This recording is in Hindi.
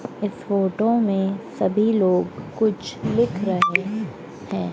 इस फोटो में सभी लोग कुछ लिख रहे हैं।